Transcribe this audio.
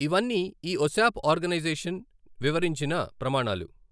ఇవన్నీ ఈ ఒశాప్ ఆర్గనైజషన్ వివరించిన ప్రమాణాలు.